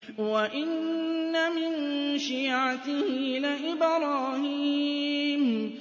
۞ وَإِنَّ مِن شِيعَتِهِ لَإِبْرَاهِيمَ